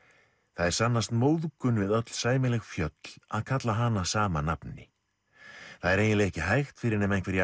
það er sannast móðgun við öll sæmileg fjöll að kalla hana sama nafni það er eiginlega ekki hægt fyrir nema einhverja